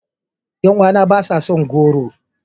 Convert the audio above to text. Yan uwana ba sa son goro.